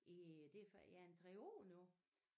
I det ja en 3 år nu